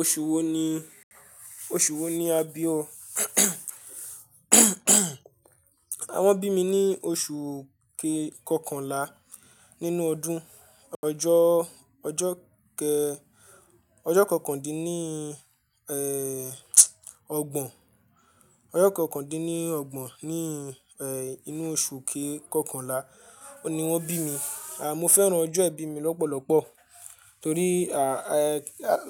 Oṣù wo ni, oṣù wo ni a bí o? A wọn bí mi ní oṣù kéè kọkànlá nínú ọdún. Ọjọ́, ọjọ́ kẹ ọjọ́ kọ kàndín nii, ẹ́, ọgbọ̀n. Ọjọ́ kọkàndín-ọgbọ̀n ní, ẹ́, inú oṣù kéè kọkànlá oun ni wọ́n bí mi. À, mo fẹ́ran ọjọ́ ìbí mi lọ́pọ̀lọ́pọ̀ torí, à, ẹ́,